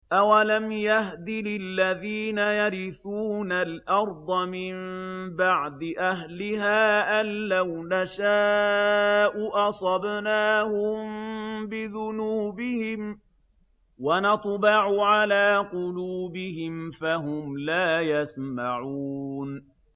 أَوَلَمْ يَهْدِ لِلَّذِينَ يَرِثُونَ الْأَرْضَ مِن بَعْدِ أَهْلِهَا أَن لَّوْ نَشَاءُ أَصَبْنَاهُم بِذُنُوبِهِمْ ۚ وَنَطْبَعُ عَلَىٰ قُلُوبِهِمْ فَهُمْ لَا يَسْمَعُونَ